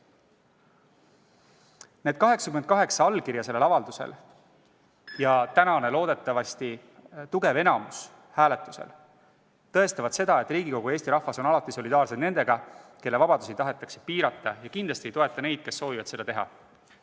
Need 88 allkirja, mis on sellel avaldusel, ja loodetavasti tugev poolthäälte enamus tänasel hääletusel tõestavad, et Riigikogu ja Eesti rahvas on alati solidaarsed nendega, kelle vabadusi tahetakse piirata, ning kindlasti ei toeta me neid, kes soovivad seda teha.